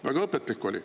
Väga õpetlik oli.